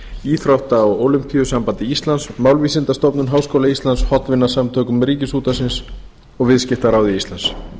íþrótta og ólympíusambandi íslands málvísindastofnun háskóla íslands hollvinasamtökum ríkisútvarpsins og viðskiptaráði íslands